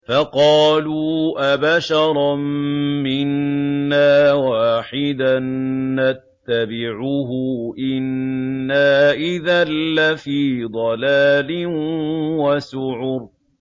فَقَالُوا أَبَشَرًا مِّنَّا وَاحِدًا نَّتَّبِعُهُ إِنَّا إِذًا لَّفِي ضَلَالٍ وَسُعُرٍ